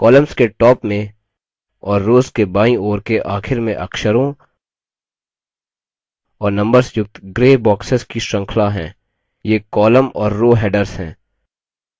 columns के top में और rows के बाईं ओर के आखिर में अक्षरों और numbers युक्त gray boxes की श्रृंखला हैं ये columns और rows headers हैं